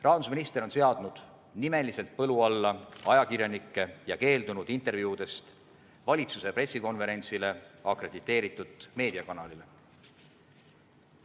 Rahandusminister on seadnud nimeliselt põlu alla ajakirjanikke ja keeldunud intervjuudest valitsuse pressikonverentsile akrediteeritud meediakanalile.